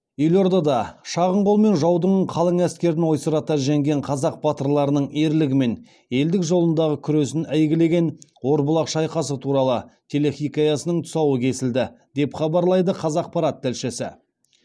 елордада шағын қолмен жаудың қалың әскерін ойсырата жеңген қазақ батырларының ерлігі мен елдік жолындағы күресін әйгілеген орбұлақ шайқасы туралы телехикаясының тұсауы кесілді деп хабарлайды қазақпарат тілшісі